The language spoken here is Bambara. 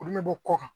Olu bɛ bɔ kɔ kan